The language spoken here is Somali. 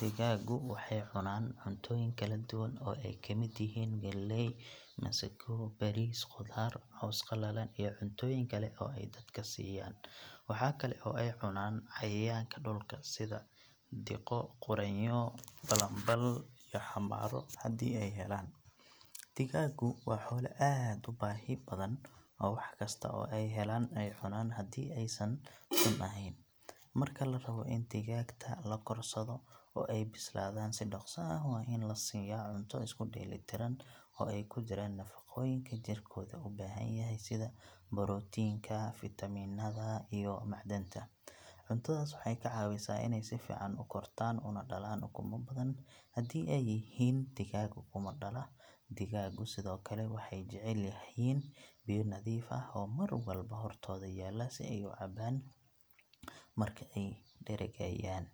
Digaagu waxay cunaan cuntooyin kala duwan oo ay ka mid yihiin galley, masago, bariis, qudaar, caws qalalan iyo cuntooyin kale oo ay dadka siiyaan. Waxaa kale oo ay cunaan cayayaanka dhulka sida diqo, quraanyo, balanbal iyo xamaaro haddii ay helaan. Digaagu waa xoolo aad u baahi badan oo wax kasta oo ay helaan ay cunaan haddii aysan sun ahayn. Marka la rabo in digaagta la korsado oo ay bislaadaan si dhakhso ah waa in la siiyaa cunto isku dheelli tiran oo ay ku jiraan nafaqooyinka jirkooda u baahan yahay sida borotiinka, fiitamiinada iyo macdanta. Cuntadaas waxay ka caawisaa inay si fiican u kortaan una dhalaan ukumo badan haddii ay yihiin digaag ukumo dhala. Digaagu sidoo kale waxay jecel yihiin biyo nadiif ah oo mar walba hortooda yaalla si ay uga cabbaan marka ay dheregayaan.